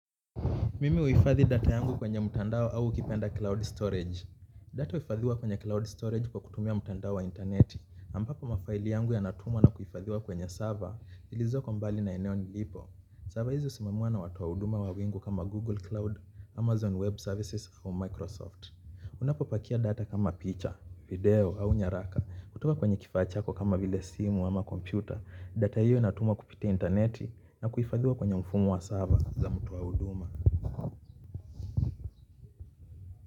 Mimi uhifadhi data yangu kwenye mtandao au ukipenda cloud storage. Data uhifadhiwa kwenye cloud storage kwa kutumia mtandao wa interneti. Ampapo mafaili yangu ya natumwa na kuhifadhiwa kwenye server ilizoko mbali na eneo nilipo. Server hizi husimamiwaa na watu wahuduma wa wingu kama Google Cloud, Amazon Web Services, au Microsoft. Ninapopakia data kama picha video au nyaraka kutoka kwenye kifaa chako kama vile simu ama kompyuta data hiyo inatumwa kupitia interneti na kuhifadhiwa kwenye mfumo wa server za mtoa huduma.